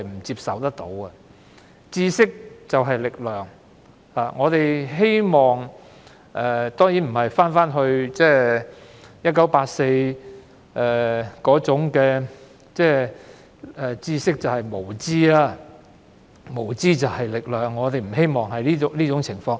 知識就是力量，我們當然希望不會回到《1984》小說中知識便是無知、無知便是力量的那種情況。